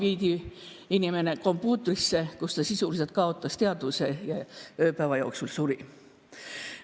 Inimene viidi kompuutrisse, kus ta kaotas teadvuse ja ööpäeva jooksul suri.